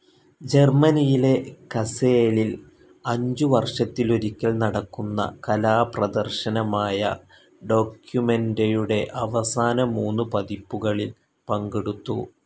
ജർമനിയിലെ കസേലിൽ അഞ്ചു വർഷത്തിലൊരിക്കൽ നടക്കുന്ന കലാപ്രദർശനമായ ഡോക്യുമെന്റയുടെ അവസാന മൂന്നു പതിപ്പുകളിൽ പങ്കെടുത്തു.